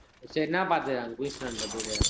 சேரி என்ன பாத்த அங்க Queensland ல போயிட்டு